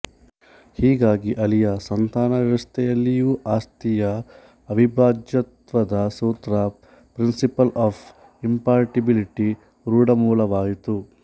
ಹೀಗಾಗಿ ಅಳಿಯ ಸಂತಾನ ವ್ಯವಸ್ಥೆಯಲ್ಲಿಯೂ ಆಸ್ತಿಯ ಅವಿಭಾಜ್ಯತ್ವದ ಸೂತ್ರ ಪ್ರಿನ್ಸಿಪಲ್ ಆಫ್ ಇಂಪಾರ್ಟಿಬಿಲಿಟಿ ರೂಢಮೂಲವಾಯಿತು